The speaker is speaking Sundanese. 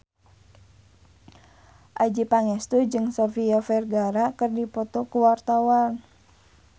Adjie Pangestu jeung Sofia Vergara keur dipoto ku wartawan